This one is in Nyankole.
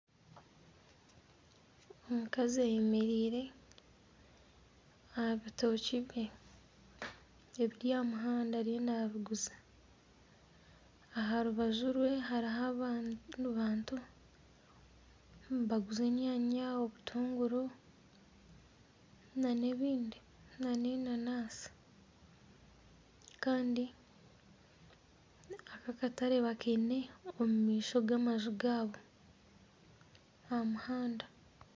Omukazi ayemereire aha bitookye bye ebiri aha muhanda ariyo nabiguza. Aha rubaju rwe hariho abantu nibaguza enyaanya n'obutunguru n'ebindi, n'enanansi. Kandi aka akatare bakaine omu maisho g'amaju gaabo aha muhanda.